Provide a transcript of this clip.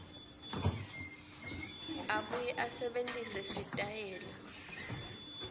abuye asebentise sitayela